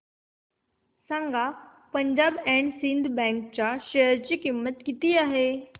सांगा Punjab and Sind bank च्या share ची किंमत किती आहे